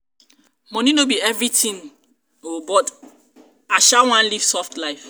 money no be everything oo but sha i wan leave soft life.